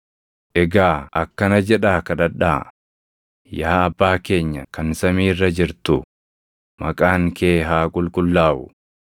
“Egaa akkana jedhaa kadhadhaa: “ ‘Yaa Abbaa keenya kan samii irra jirtu, maqaan kee haa qulqullaaʼu;